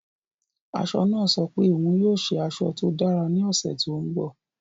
Aṣọ náà sọ pé òun yóò ṣe aṣọ tó dára ní ọ̀sẹ̀ tó ń bọ̀.